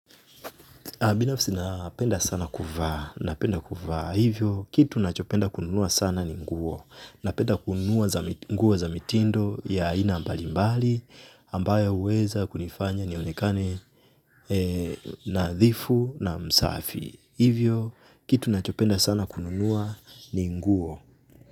Binafsi napenda sana kuvaa, napenda kuvaa, hivyo kitu nachopenda kununua sana ni nguo, napenda kununua za mitindo ya ina mbali mbali, ambayo uweza kunifanya nionekane nadhifu na msafi, hivyo kitu nachopenda sana kununua ni nguo.